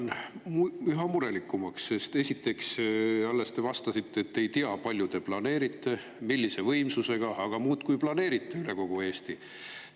Mina lähen üha murelikumaks, sest esiteks te alles vastasite, et te ei tea, palju ja millise võimsusega te planeerite, aga te muudkui planeerite neid üle kogu Eesti.